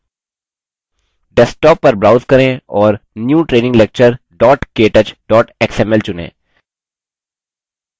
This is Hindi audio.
desktop पर browse करें और new training lecture ktouch xml चुनें